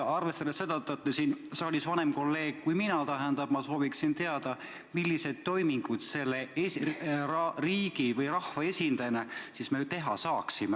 Arvestades seda, et te olete siin saalis vanem olija kui mina, ma küsin teilt, milliseid toiminguid selle riigi või rahva esindajana me siis teha saaksime.